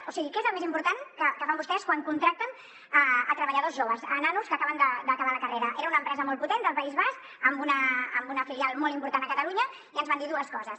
o sigui què és el més important que fan vostès quan contracten treballadors joves a nanos que acaben d’acabar la carrera era una empresa molt potent del país basc amb una filial molt important a catalunya i ens van dir dues coses